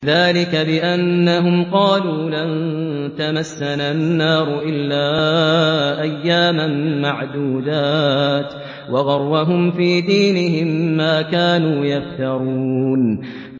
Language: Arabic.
ذَٰلِكَ بِأَنَّهُمْ قَالُوا لَن تَمَسَّنَا النَّارُ إِلَّا أَيَّامًا مَّعْدُودَاتٍ ۖ وَغَرَّهُمْ فِي دِينِهِم مَّا كَانُوا يَفْتَرُونَ